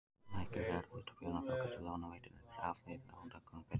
Lækki verð hlutabréfanna þá getur lánveitandinn krafið lántakann um betra veð.